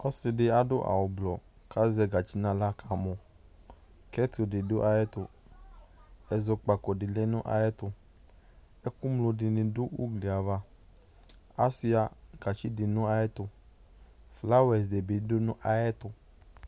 Ɔsɩ ɖɩ aɖʋ awʋ blɔ; ƙʋ azɛ gatsi nʋ aɣla ƙamɔKɛt ɖɩ ɖʋ aƴʋ ɛtʋ, ɛzɔƙpaƙo ɖɩ lɛ nʋ aƴʋ ɛtʋƐƙʋ ŋlo ɖɩnɩ ɖʋ ugli avaAsʋɩa gatsi ɖɩ nʋ aƴʋ ɛtʋ, flawa ɖɩnɩ bɩ ɖʋ aƴʋ ɛtʋ